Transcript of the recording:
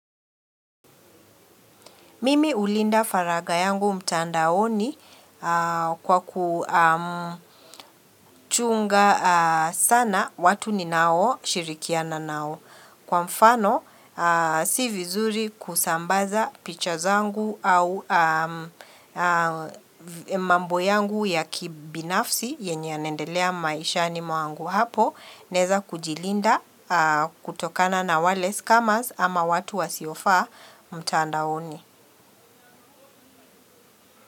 Mimi hulinda faragha yangu mtandaoni kwaku mmh kuchunga sana watu ninao shirikiana nao. Kwa mfano, ahh si vizuri kusambaza picha zangu au mambo yangu ya kibinafsi yenye yanaendelea maishani mwangu hapo Naeza kujilinda, ah kutokana na wale scummers ama watu wasiofaa mtandaoni.